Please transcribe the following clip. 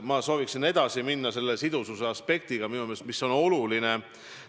Ma sooviksin edasi minna selle sidususe aspektiga, mis on minu meelest oluline.